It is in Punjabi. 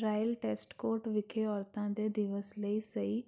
ਰਾਇਲ ਏਸਕੋਟ ਵਿਖੇ ਔਰਤਾਂ ਦੇ ਦਿਵਸ ਲਈ ਸਹੀ